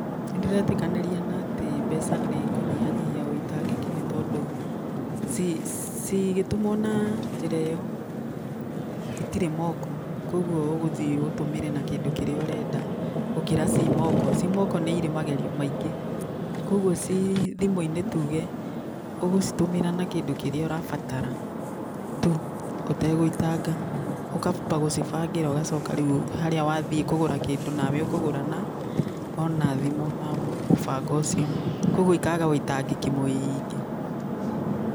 Nĩndĩretĩkanĩria na atĩ mbeca nĩ ikũnyihanyihia ũitangĩki nĩ tondũ cigĩtũmwo na njĩra ĩyo itirĩ moko koguo ũgũthiĩ ũtũmĩre na kĩndũ kĩrĩa ũrenda gũkĩra ciĩ moko. Ciĩ moko nĩ cirĩ magerio maingĩ, koguo ci thimũ-inĩ ũgũcitũmĩra na kĩndũ kĩrĩa ũrabatara tu ũtegũitanga. Ũkamba ũgacibangĩra ũgacoka rĩu harĩa wathiĩ kũgũra kĩndũ nawe ũkũgũra na ona wĩna mũbango ũcio. Koguo ikaga ũitangĩki mũingĩ.